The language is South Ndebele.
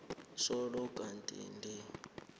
solo kwathi ndi